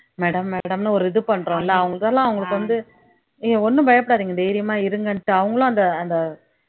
madam madam ன்னு ஒரு இது பண்றோம்ல அவங்களுக்காக எல்லாம் அவங்களுக்கு வந்து நீங்க ஒண்ணும் பயப்படாதீங்க தைரியமா இருங்கன்ட்டு அவுங்களும் அந்த அந்த